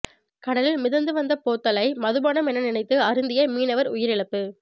கடலில் மிதந்து வந்த போத்தலை மதுபானம் என நினைத்து அருந்திய மீனவர் உயிரிழப்பு